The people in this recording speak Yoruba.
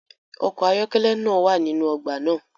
ọkọ̀ ayọ́kẹ́lẹ́ naa wa ninu ogba naa